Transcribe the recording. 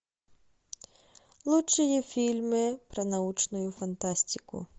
лучшие фильмы про научную фантастику